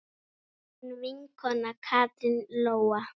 Þín vinkona Katrín Lóa.